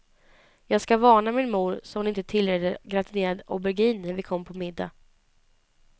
Jag ska varna min mor, så hon inte tillreder gratinerad aubergine när vi kommer på middag.